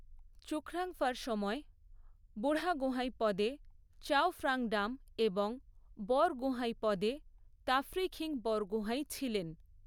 চুখ্রাংফার সময়ে বুঢ়াগোঁহাই পদে চাওফ্রংডাম এবং বরগোঁহাই পদে তাফ্রিখিন বরগোঁহাই ছিলেন।